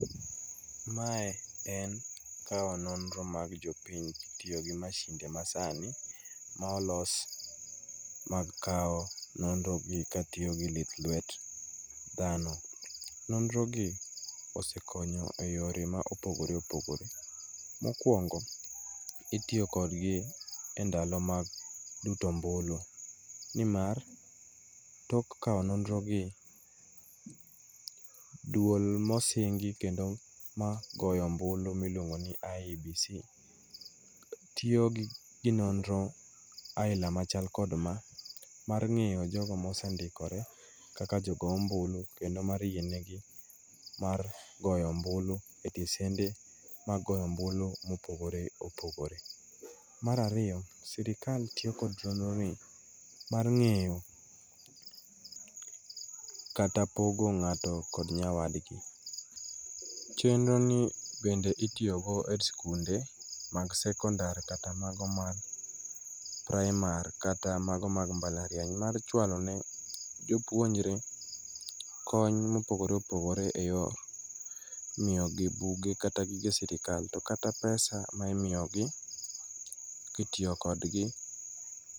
Mae en kawo nonro mag jopiny kitiyo gi mashinde masani ma olos mag kawo nonrogi katiyo gi lith lwet dhano. Nonro gi osekonyo e yore ma opogore opogore. Mokwongo itiyo kodgi e ndalo mag luto ombulu nimar tok kawo nonrogi duol mosingi kendo magoyo ombulu miluongo ni IEBC tiyo gi nonro aila machal kod ma mar ng'iyo jogo mosendikore kaka jogo ombulu kendo mar yienegi mar goyo ombulu e tesende mag goyo omulu mopogore opogore. Mar ariyo sirikal tiyo kod chenroni mar ng'eyo kata pogo ng'ato kod nyawadgi, chenroni bende itiyogo e skunde mag sekondar kata mago mag praimar kata mago mag mbalariany mar chwalo ne jopuonjre kony mopogore opogore e yo miyogi buge kata gige sirikal to kata pesa ma imiyogi kitiyo kodgi.